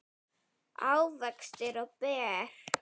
ávextir og ber